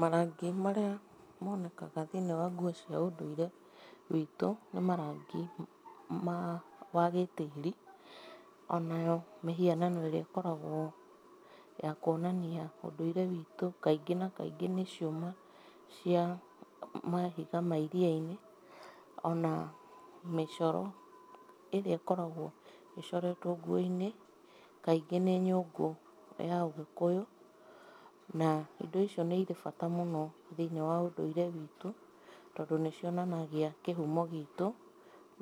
Marangi marĩa monekaga thĩinĩ wa nguo cia ũndũire witũ nĩ marangi ma wa gĩtĩĩri ona mĩhianano ĩrĩa ĩkoragwo ya kuonania ũndũire witũ kaingĩ na kaingĩ nĩ ciũma cia mahiga ma iria-inĩ ona mĩcoro ĩrĩa ĩkoragwo ĩcoretwo nguo-inĩ, kaingĩ nĩ nyũngũ ya ũgĩkũyũ. Na indo icio nĩ irĩ na bata mũno thĩinĩ wa ũndũire witũ tondũ nĩ cionanagia kĩhumo gitũ